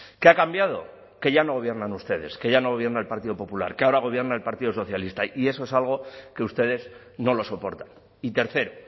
qué ha cambiado que ya no gobiernan ustedes que ya no gobierna el partido popular que ahora gobierna el partido socialista y eso es algo que ustedes no lo soportan y tercero